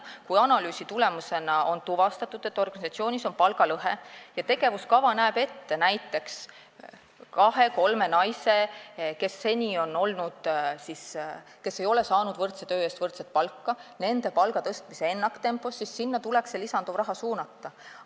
Kui analüüsi tulemusena on tuvastatud, et organisatsioonis on palgalõhe, ja tegevuskava näeb ette näiteks tõsta ennaktempos palka kahel või kolmel naisel, kes seni ei ole saanud võrdse töö eest võrdset palka, siis see lisanduv raha tuleks sinna suunata.